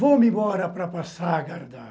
Vou-me embora para passar a guardar.